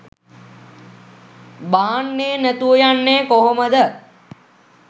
බාන්නේ නැතුව යන්නේ කොහොමද